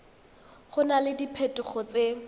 go na le diphetogo tse